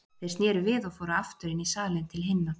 Þeir sneru við og fóru aftur inn í salinn til hinna.